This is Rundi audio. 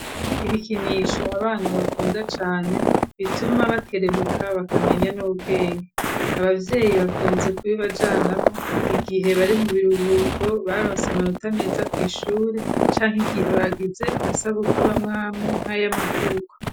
Ibikinisho abantu bakunda cane bituma bakerebuka bakamenya n'ubwenge. Abavyeyi bakunze ku bibajanamo igihe bari mu biruhuko baronse amanota ameza ku ishure canga igihe bagize amasabukuru amwami nka y'amavuko.